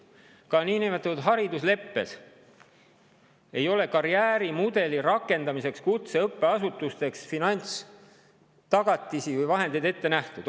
Ka niinimetatud haridusleppes ei ole karjäärimudeli rakendamiseks kutseõppeasutustes finantstagatisi või ‑vahendeid ette nähtud.